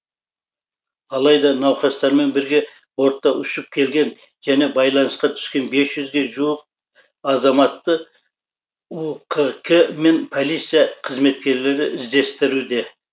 алайда науқастармен бірге бортта ұшып келген және байланысқа түскен бес жүзге жуық азаматты ұқк мен полиция қызметкерлері іздестіруде